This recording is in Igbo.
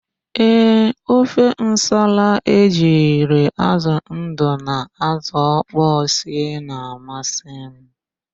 Ee, ofe nsala ejiri ázụ̀ ndụ na ázụ̀ ọkpọọ sie na-amasị m.